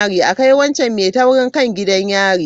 A kai wancan mai taurin kai gidan yari.